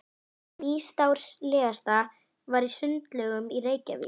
Hið nýstárlegasta var í Sundlaugunum í Reykjavík.